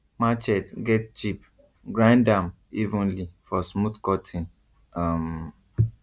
machete get chip grind am evenly for smooth cutting um